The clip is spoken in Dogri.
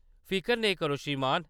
फिकर नेईं करो, श्रीमान।